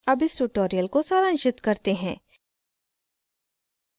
अब इस tutorial को सारांशित करते हैं